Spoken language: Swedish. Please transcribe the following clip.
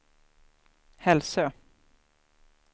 Hälsö